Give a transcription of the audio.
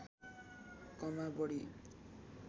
कमा बढी